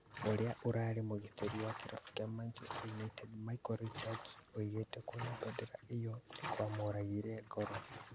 Ũrĩa ũrarĩ mũgitĩri wa kĩrabu kĩa Manchester United Micah Richards oigĩte kwona bendera ĩyo nĩkwamũragire ngoro